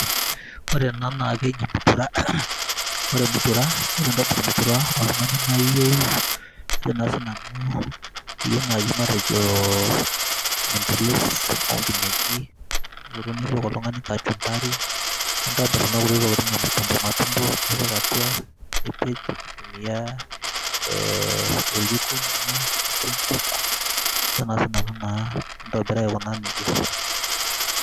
Ore ena na keji mutura, ore entoki naji mutura na oltungani naiyeu ainoso ,iyieu nai matejo midilis nipik oltungani kachumbari nitobir kuna kutitik tokitin najo matumbo nipikbatua nipej aotumia oljiko lino lonkuk kajo naa sinanu nintobiraa aiko nejia.